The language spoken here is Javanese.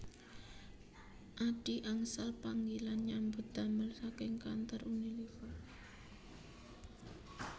Adhi angsal panggilan nyambut damel saking kantor Unilever